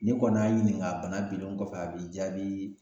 N'i kɔni y'a ɲininka a bana bilen kɔfɛ a b'i jaabii